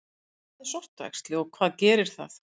Hvað er sortuæxli og hvað gerir það?